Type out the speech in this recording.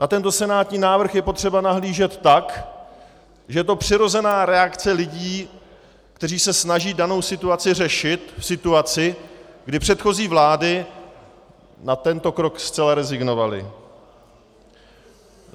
Na tento senátní návrh je potřeba nahlížet tak, že je to přirozená reakce lidí, kteří se snaží danou situaci řešit v situaci, kdy předchozí vlády na tento krok zcela rezignovaly.